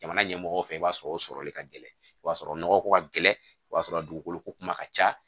Jamana ɲɛmɔgɔw fɛ i b'a sɔrɔ o sɔrɔli ka gɛlɛn o b'a sɔrɔ nɔgɔ ko ka gɛlɛn o b'a sɔrɔ dugukolo ko kuma ka ca